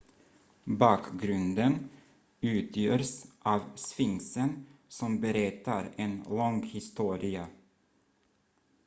bakgrunden utgörs av sphinxen som berättar en lång historia